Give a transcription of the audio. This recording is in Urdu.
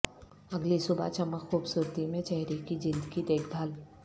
اگلی صبح چمک خوبصورتی میں چہرے کی جلد کی دیکھ بھال